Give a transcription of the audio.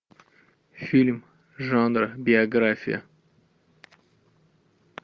фильм жанра биография